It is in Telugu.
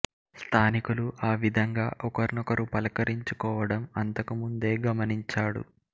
స్థానికులు ఆ విధంగా ఒకర్నొకరు పలకరించుకోవడం అంతకు ముందే గమనించాడు